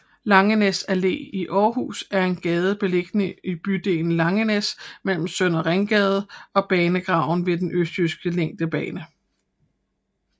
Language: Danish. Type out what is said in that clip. Langenæs Allé i Aarhus er en gade beliggende i bydelen Langenæs mellem Søndre Ringgade og banegraven ved Den østjyske længdebane